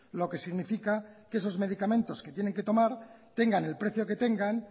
lo que significa que esos medicamentos que tienen que tomar tengan el precio que tengan